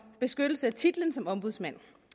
beskyttelse af titlen som ombudsmand